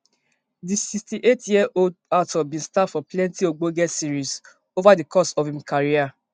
di sixty-eight year old actor bin star for plenti ogbonge series ova di course of im career